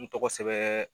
N tɔgɔ sɛbɛn